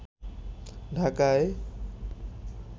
ঢাকায়